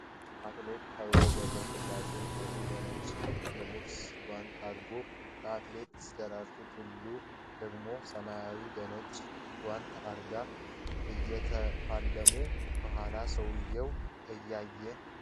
አትሌት ኃይሌ ገብረ ሥላሴ ቀይ በነጭ የቦክስ ጓንት አርጎ አትሌት ደራርቱ ቱሉ ደግሞ ሰማያዊ በነጭ ጓንት አጋ እየተፋለሙ ፤ ከኋላ ሰዎች እያዩ